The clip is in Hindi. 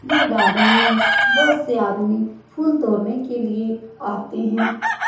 ये गार्डन में बहुत से आदमी फूल तोड़ने के लिए आते हैं।